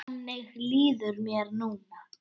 Þannig líður mér núna.